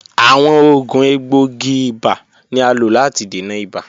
Awọn oògùn egboogi-iba ni a lo lati dena ibà.